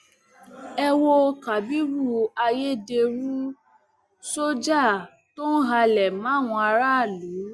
ẹ wo kábírú ayédèrú sójà tó ń halẹ máwọn aráàlú